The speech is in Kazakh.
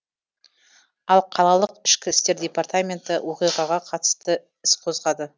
ал қалалық ішкі істер департаменті оқиғаға қатысты іс қозғады